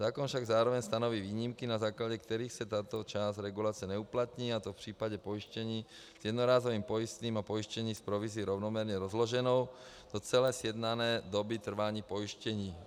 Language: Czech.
Zákon však zároveň stanoví výjimky, na základě kterých se tato část regulace neuplatní, a to v případě pojištění s jednorázovým pojistným a pojištění s provizí rovnoměrně rozloženou do celé sjednané doby trvání pojištění.